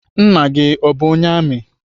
Nna gị o bụ onye amị?